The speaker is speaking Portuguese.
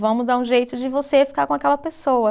Vamos dar um jeito de você ficar com aquela pessoa.